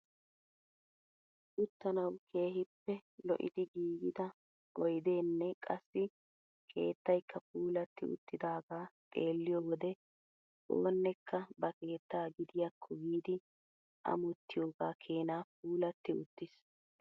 Uttanawu keehippe lo'idi giigida oydeenne qassi keettaykka puulatti uttidagaa xeelliyoo wode oonekka ba keettaa gidiyaakko giidi amottiyoogaa keenaa puulatti uttiis!